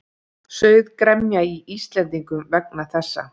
Sauð gremja í Íslendingum vegna þessa.